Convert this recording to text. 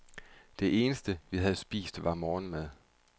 Det eneste, vi havde spist, var morgenmad.